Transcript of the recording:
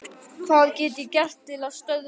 Hvað get ég gert til að stöðva það?